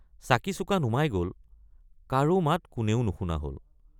চাকিচুকা নুমাই গল কাৰো মাত কোনেও নুশুনা হল।